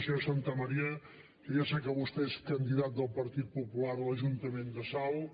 senyor santamaría jo ja sé que vostè és candidat del partit popular a l’ajuntament de salt